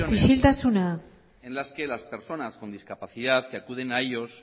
ocasiones mesedez isiltasuna hay ocasiones en las que las personas con discapacidad que acuden a ellos